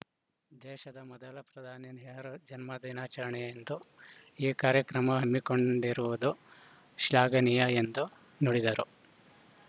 ದೇಶದ ಮೊದಲ ಪ್ರಧಾನಿ ನೆಹರೂ ಜನ್ಮದಿನಾಚರಣೆಯಂದು ಈ ಕಾರ್ಯಕ್ರಮ ಹಮ್ಮಿಕೊಂಡಿರುವುದು ಶ್ಲಾಘನೀಯ ಎಂದು ನುಡಿದರು